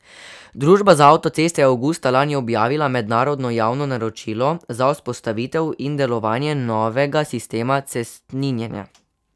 Družba za avtoceste je avgusta lani objavila mednarodno javno naročilo za vzpostavitev in delovanje novega sistema cestninjenja.